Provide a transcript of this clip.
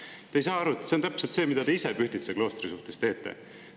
Aga te ei saa aru, et see on täpselt see, mida te ise Pühtitsa kloostri suhtes teete.